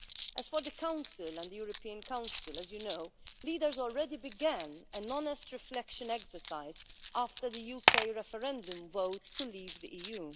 As for the Council and the European Council, as you know, leaders already began an honest reflection exercise after the UK referendum vote to leave the EU.